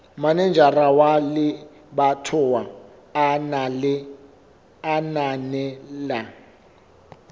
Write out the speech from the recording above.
manejara wa lebatowa a ananela